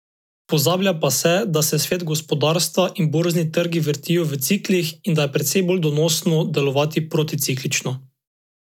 Pozablja pa se, da se svet, gospodarstva in borzni trgi vrtijo v ciklih in da je precej bolj donosno delovati proticiklično.